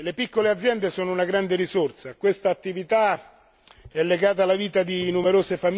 Questa attività è legata alla vita di numerose famiglie, in Italia e in Europa.